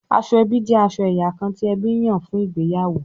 Aṣọ ẹbí jẹ aṣọ ẹyà kán ti ẹbí nyan fún ìgbéyàwó